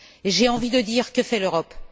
J'ai envie dire que fait l'Europe?